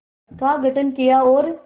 का गठन किया और